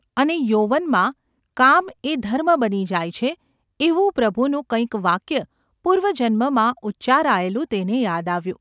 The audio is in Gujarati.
અને યૌવનમાં કામ એ ધર્મ બની જાય છે એવું પ્રભુનું કંઈક વાક્ય પૂર્વજન્મમાં ઉચ્ચારાયેલું તેને યાદ આવ્યું.